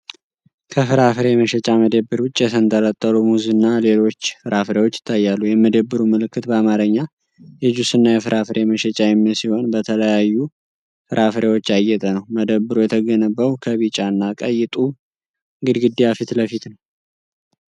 ከፍራፍሬ መሸጫ መደብር ውጭ የተንጠለጠሉ ሙዝ እና ሌሎች ፍራፍሬዎች ይታያሉ። የመደብሩ ምልክት በአማርኛ "የጁስና የፍራፍሬ መሸጫ" የሚል ሲሆን፣ በተለያዩ ፍራፍሬዎች ያጌጠ ነው። መደብሩ የተገነባው ከቢጫ እና ቀይ ጡብ ግድግዳ ፊት ለፊት ነው።